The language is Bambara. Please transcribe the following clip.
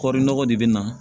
Kɔri nɔgɔ de bɛ na